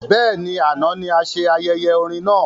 Bẹ́ẹ̀ni, àna ní ase ayẹyẹ orin náà